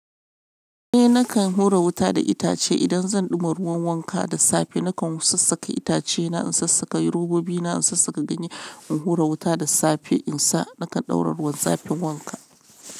Eh nakan hura wuta da itace idan zan ɗuma ruwan wanka da safe. Nakan sassaka itacena, in sassaka robobina, in sassaka ganye, in hura wuta da safe in sa nakan ɗaura ruwan zafin wanka.